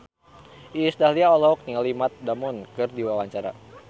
Iis Dahlia olohok ningali Matt Damon keur diwawancara